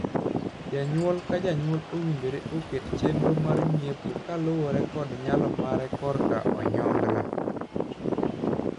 Janyuol ka janyuol owinjore oket chenro mar ng'iepo kaluwore kod nyalo mare korka onyongla.